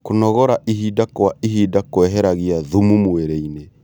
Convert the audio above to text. Kũnogora ĩhĩda kwa ĩhĩda kweheragĩa thũmũ mwĩrĩĩnĩ